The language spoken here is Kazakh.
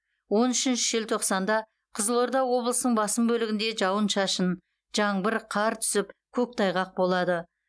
он үшінші желтоқсанда қызылорда облысының басым бөлігінде жауын шашын жаңбыр қар түсіп көктайғақ болады